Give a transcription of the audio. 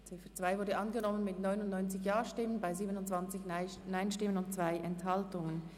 Die Ziffer 2 ist angenommen worden mit 99 Ja-, 27 Nein-Stimmen und 2 Enthaltungen.